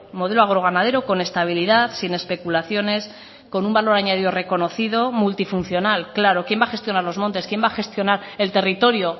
modelo agroganadero con estabilidad sin especulaciones con un valor añadido reconocido multifuncional claro quién va a gestionar los montes quien va a gestionar el territorio